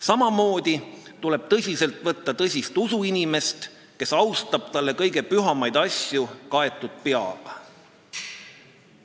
Samamoodi tuleb tõsiselt võtta usuinimest, kes austab talle kõige pühamaid asju kaetud peaga.